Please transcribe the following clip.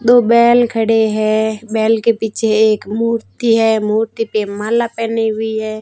दो बैल खड़े हैं। बैल के पीछे एक मूर्ति है। मूर्ति पे माला पहनी हुई हैं।